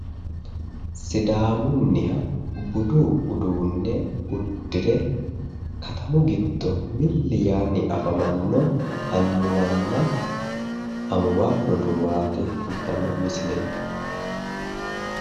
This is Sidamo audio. sidaamunniha budu udunne uddire katamu giddo milli yaanni afamanno annuwanna amuwa kultanno misileeti